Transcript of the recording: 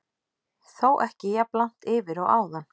Þó ekki jafn langt yfir og áðan.